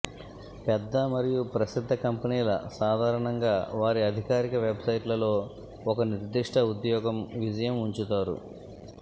పెద్ద మరియు ప్రసిద్ధ కంపెనీల సాధారణంగా వారి అధికారిక వెబ్సైట్లలో ఒక నిర్దిష్ట ఉద్యోగం విజయం ఉంచుతారు